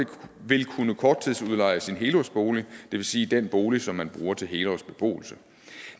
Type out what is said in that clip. vil kunne korttidsudleje sin helårsbolig det vil sige den bolig som man bruger til helårsbeboelse